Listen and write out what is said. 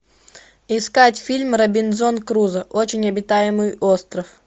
искать фильм робинзон крузо очень обитаемый остров